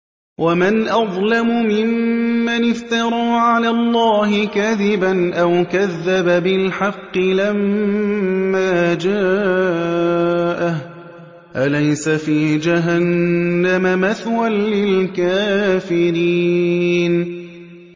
وَمَنْ أَظْلَمُ مِمَّنِ افْتَرَىٰ عَلَى اللَّهِ كَذِبًا أَوْ كَذَّبَ بِالْحَقِّ لَمَّا جَاءَهُ ۚ أَلَيْسَ فِي جَهَنَّمَ مَثْوًى لِّلْكَافِرِينَ